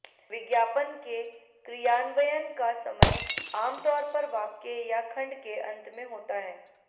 विज्ञापन के क्रियान्वयन का समय आमतौर पर वाक्य या खंड के अंत में होता है